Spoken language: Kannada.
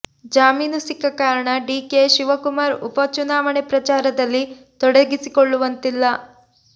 ಜಾಮೀನು ಸಿಕ್ಕ ಕಾರಣ ಡಿಕೆ ಶಿವಕುಮಾರ್ ಉಪ ಚುನಾವಣೆ ಪ್ರಚಾರದಲ್ಲಿ ತೊಡಗಿಸಿಕೊಳ್ಳುವಂತಿಲ್ಲ